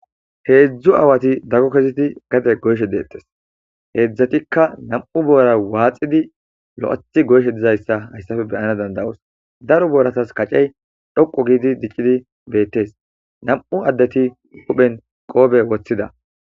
Hezdzdu aawati dago kezidi gade goyishe detees hezdzdatikka namu bora waxidi loethidi goyishe dizayisa hayissappe beanas danidaosi daro boratasi kaceyi dhoqu gi betidi deesi namu adeti hupheni qoppe wothida